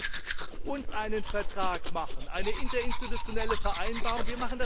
Lassen Sie uns einen Vertrag schließen eine interinstitutionelle Vereinbarung!